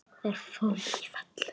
Það fór ekki í felur.